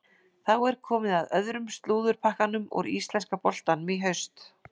Þá er komið að öðrum slúðurpakkanum úr íslenska boltanum í haust.